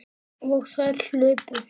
Og þær hlupu.